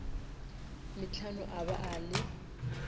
metlhano a ba a le